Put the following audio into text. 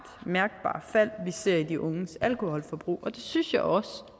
mærkbart fald vi ser i de unges alkoholforbrug og det synes jeg også